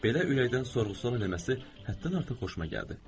Belə ürəkdən sorğu-sual eləməsi həddən artıq xoşuma gəldi.